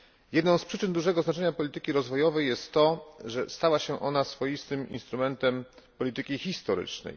Jedną z przyczyn dużego znaczenia polityki rozwojowej jest to, że stała się ona swoistym instrumentem polityki historycznej.